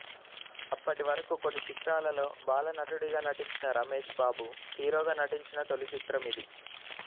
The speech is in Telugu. అప్పటివరకు కొన్ని చిత్రాలలో బాలనటుడిగా నటించిన రమేష్ బాబు హీరోగా నటించిన తొలిచిత్రం ఇది